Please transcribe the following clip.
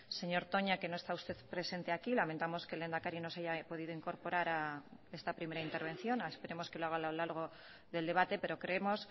señor toña que no esta usted presente aquí lamentamos que el lehendakari no se haya podido incorporar a esta primera intervención esperamos que lo haga a lo largo del debate pero creemos